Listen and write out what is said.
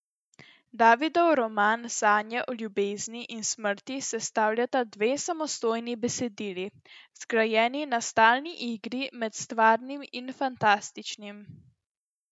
Davidov roman Sanje o ljubezni in smrti sestavljata dve samostojni besedili, zgrajeni na stalni igri med stvarnim in fantastičnim.